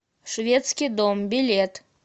шведский дом билет